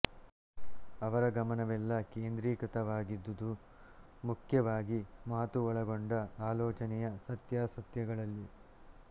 ಅವರ ಗಮನವೆಲ್ಲ ಕೇಂದ್ರಿತವಾಗಿದ್ದುದು ಮುಖ್ಯವಾಗಿ ಮಾತು ಒಳಗೊಂಡ ಆಲೋಚನೆಯ ಸತ್ಯಾಸತ್ಯಗಳಲ್ಲಿ